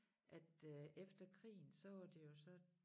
At øh efter krigen så var det jo så